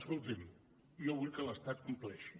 escolti’m jo vull que l’estat compleixi